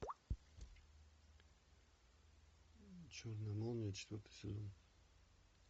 черная молния четвертый сезон